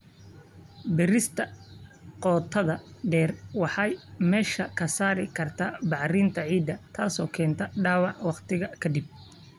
Beerista qotada dheer waxay meesha ka saari kartaa bacrinta ciidda, taasoo keenta dhaawac waqti ka dib.